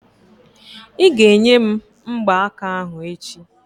Ị́ ga-enye m mgbaaka ahụ echi!